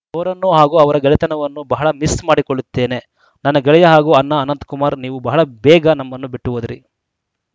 ಅವರನ್ನು ಹಾಗೂ ಅವರ ಗೆಳೆತನವನ್ನು ಬಹಳ ಮಿಸ್‌ ಮಾಡಿಕೊಳ್ಳುತ್ತೇನೆ ನನ್ನ ಗೆಳೆಯ ಹಾಗೂ ಅಣ್ಣ ಅನಂತಕುಮಾರ್‌ ನೀವು ಬಹಳ ಬೇಗ ನಮ್ಮನ್ನು ಬಿಟ್ಟುಹೋದಿರಿ